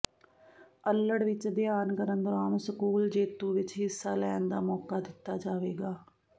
ਅੱਲੜ ਵਿਚ ਅਧਿਐਨ ਕਰਨ ਦੌਰਾਨ ਸਕੂਲ ਜੇਤੂ ਵਿਚ ਹਿੱਸਾ ਲੈਣ ਦਾ ਮੌਕਾ ਦਿੱਤਾ ਜਾਵੇਗਾ